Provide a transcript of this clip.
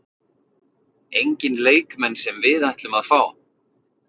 Enginn leikmenn sem við ætlum að fá?